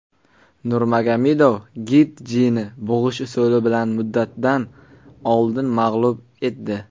Nurmagomedov Getjini bug‘ish usuli bilan muddatidan oldin mag‘lub etdi.